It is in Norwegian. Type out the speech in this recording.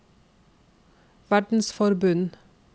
verdensforbund